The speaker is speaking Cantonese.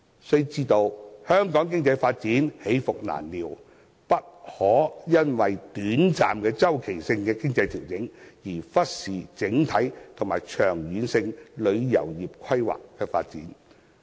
須知道香港的經濟發展起伏難料，不可因為短暫周期性的經濟調整，便忽視整體及長遠性旅遊業的規劃和發展。